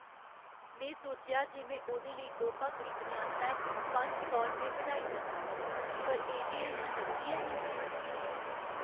में सोचेआ जे में ओह्दे लेई तोह्फा खरीदने आस्तै पंज सौ रपेऽ कढाई सकनां। पर ए.टी.ऐम्म. च नगदी हैन्नी ।